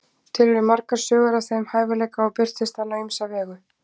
til eru margar sögur af þeim hæfileika og birtist hann á ýmsa vegu